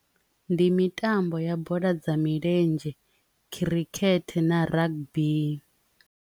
Ndi mitambo ya bola dza milenzhe, khirikhethe na rugby.